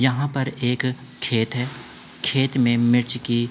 यहाँ पर एक खेत है। खेत में मिर्च की --